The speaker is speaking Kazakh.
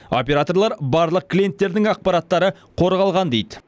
операторлар барлық клиенттердің ақпараттары қорғалған дейді